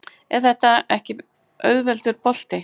En þetta var ekki auðveldur bolti?